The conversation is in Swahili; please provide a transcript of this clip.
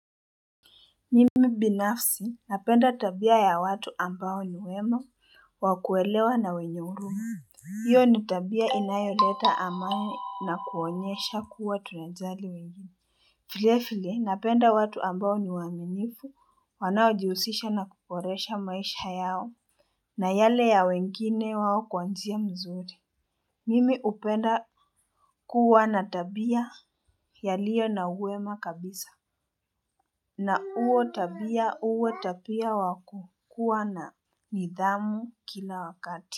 Mimi binafsi napenda tabia ya watu ambao ni wema wakuelewa na wenye huruma. Hiyo ni tabia inayoleta amani na kuonyesha kuwa tunajali wengine. Filefile napenda watu ambao ni waminifu wanao jihusisha na kuporesha maisha yao na yale ya wengine wawo kwanzia mzuri. Mimi upenda kuwa na tabia ya liyo na uema kabisa. Na uo tabia uo tabia wakukua na nidhamu kila wakati.